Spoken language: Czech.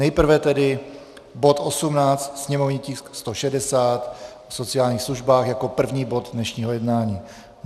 Nejprve tedy bod 18, sněmovní tisk 160, o sociálních službách, jako první bod dnešního jednání.